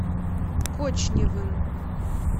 кочневым